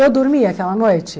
Eu dormi aquela noite?